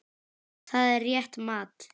Það er rétt mat.